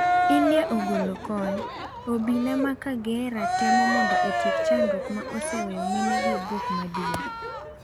India ogolo kony. Obila ma Kagera temo mondo otieko chandruok ma oseweyo mine gi buok maduong.